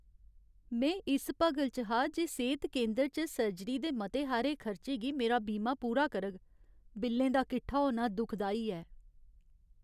में इस भगल च हा जे सेह्त केंदर च सर्जरी दे मते हारे खर्चें गी मेरा बीमा पूरा करग। बिल्लें दा कट्ठा होना दुखदाई ऐ।